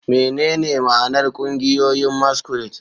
Menene ma'anar ƙungiyoyin masquerade?